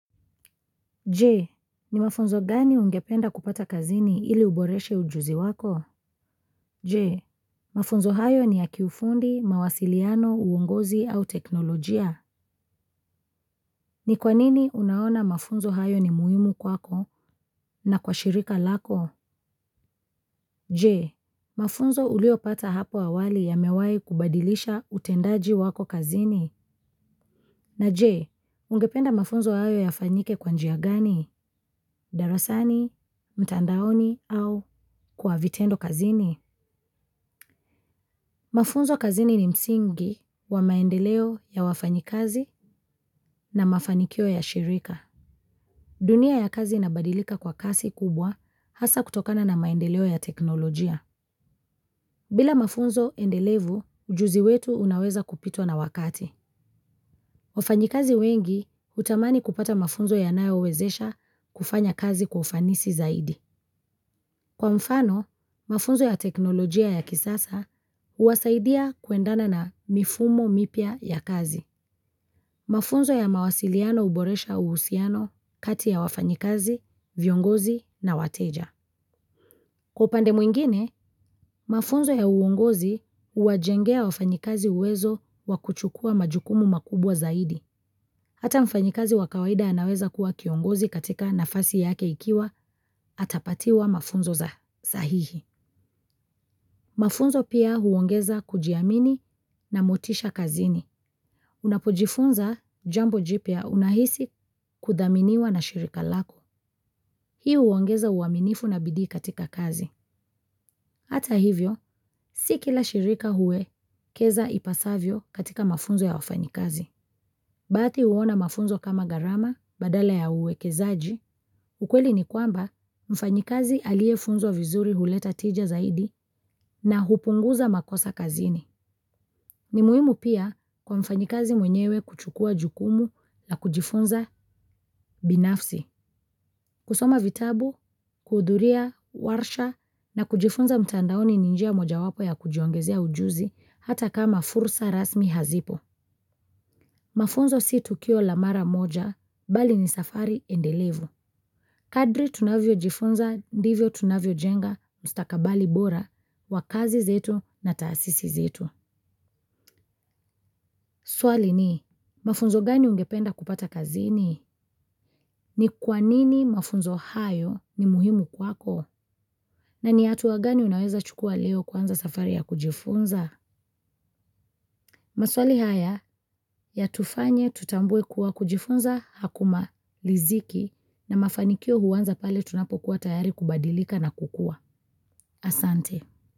Jee, ni mafunzo gani ungependa kupata kazini ili uboreshe ujuzi wako? Jee, mafunzo hayo ni ya kiufundi, mawasiliano, uongozi au teknolojia. Ni kwa nini unaona mafunzo hayo ni muhimu kwako na kwa shirika lako? Jee, mafunzo ulio pata hapo awali yamewai kubadilisha utendaji wako kazini. Na je ungependa mafunzo hayo yafanyike kwa njia gani. Darasani, mtandaoni au kwa vitendo kazini? Mafunzo kazini ni msingi wa maendeleo ya wafanyikazi na mafanikio ya shirika. Dunia ya kazi inabadilika kwa kasi kubwa hasa kutokana na maendeleo ya teknolojia. Bila mafunzo endelevu, ujuzi wetu unaweza kupitwa na wakati. Wafanyikazi wengi hutamani kupata mafunzo yanayo wawezesha kufanya kazi kwa ufanisi zaidi. Kwa mfano, mafunzo ya teknolojia ya kisasa huwasaidia kuendana na mifumo mipya ya kazi. Mafunzo ya mawasiliano huboresha uhusiano kati ya wafanyikazi, viongozi na wateja. Kwa upande mwingine, mafunzo ya uongozi huwajengea wafanyikazi uwezo wakuchukua majukumu makubwa zaidi. Hata mfanyikazi wa kawaida anaweza kuwa kiongozi katika nafasi yake ikiwa atapatiwa mafunzo za sahihi. Mafunzo pia huongeza kujiamini na motisha kazini. Unapojifunza jambo jipya unahisi kuthaminiwa na shirika lako. Hii huongeza uaminifu na bidii katika kazi. Hata hivyo, si kila shirika huwekeza ipasavyo katika mafunzo ya wafanyikazi. Baadhi huona mafunzo kama gharama badala ya uwekezaji, ukweli ni kwamba mfanyikazi aliyefunzwa vizuri huleta tija zaidi na hupunguza makosa kazini. Ni muhimu pia kwa mfanyikazi mwenyewe kuchukua jukumu na kujifunza binafsi. Kusoma vitabu, kuhudhuria, warsha na kujifunza mtandaoni ni njia moja wapo ya kujiongezea ujuzi hata kama fursa rasmi hazipo. Mafunzo si tukio la mara moja, bali ni safari endelevu. Kadri tunavyo jifunza, ndivyo tunavyo jenga, ustakabali bora, wa kazi zetu na taasisi zetu. Swali ni, mafunzo gani ungependa kupata kazini? Ni kwanini mafunzo hayo ni muhimu kwako? Na ni hatuwa gani unaweza chukua leo kwanza safari ya kujifunza? Maswali haya ya tufanye tutambue kuwa kujifunza haku maliziki na mafanikio huanza pale tunapokuwa tayari kubadilika na kukua. Asante.